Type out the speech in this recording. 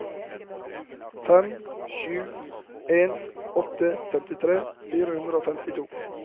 fem sju en åtte femtifire fire hundre og femtito